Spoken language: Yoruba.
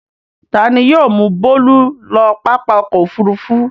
Ta ni yóò mú Bólú lọ pápá ọkọ̀-òfurufú.